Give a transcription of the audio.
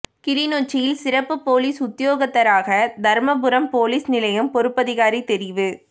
கிளிநொச்சியில் சிறப்பு பொலிஸ் உத்தியோகத்தராக தர்மபுரம் பொலிஸ் நிலையைப் பொறுப்பதிகாரி தெரிவு